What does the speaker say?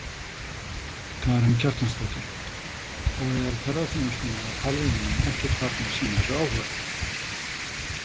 Karen Kjartansdóttir: Og er ferðaþjónustan eða hvalveiðimenn ekkert farnir að sýna þessu áhuga?